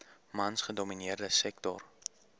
mans gedomineerde sektor